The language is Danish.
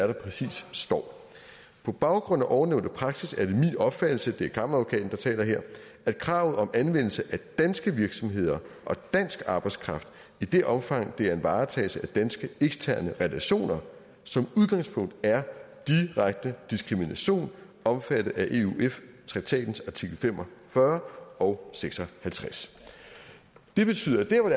der præcist står på baggrund af ovennævnte praksis er det min opfattelse det er kammeradvokaten der taler her at kravet om anvendelse af danske virksomheder og dansk arbejdskraft i det omfang det er en varetagelse af danske eksterne relationer som udgangspunkt er direkte diskrimination omfattet af euf traktatens artikel fem og fyrre og seks og halvtreds det betyder at